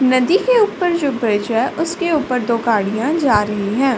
नदी के ऊपर जो ब्रिज है। उसके ऊपर दो गाड़िया जा रही है।